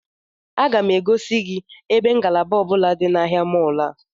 Aga m egosi gị ebe ngalaba ọ bụla dị na ahịa mọọlụ a